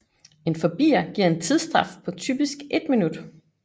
En forbier giver en tidsstraf på typisk 1 min